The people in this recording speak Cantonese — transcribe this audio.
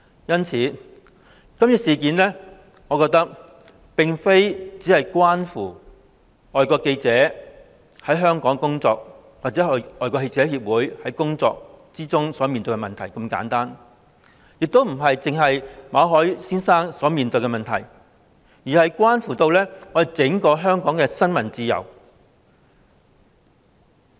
因此，我覺得今次事件並非只關乎外國記者會在港的工作或他們在工作中遇到的問題如此簡單，亦不只關乎馬凱先生所面對的問題，而是關乎整個香港的新聞自由。